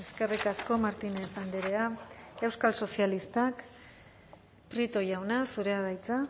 eskerrik asko martínez andrea euskal sozialistak prieto jauna zurea da hitza